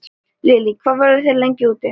Lillý: Hvað verðið þið lengi úti?